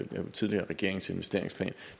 den tidligere regerings investeringsplan